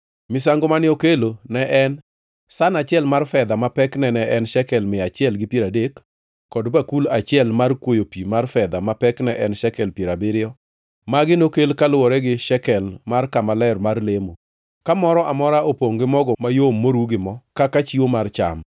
Misango mane okelo ne en san achiel mar fedha ma pekne ne en shekel mia achiel gi piero adek, kod bakul achiel mar kwoyo pi mar fedha ma pekne en shekel piero abiriyo. Magi nokel kaluwore gi shekel mar kama ler mar lemo, ka moro ka moro opongʼ gi mogo mayom moru gi mo kaka chiwo mar cham;